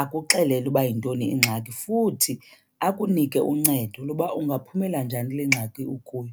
akuxelele uba yintoni ingxaki. Futhi akunike uncedo loba ungaphumela njani le kule ngxaki ukuyo.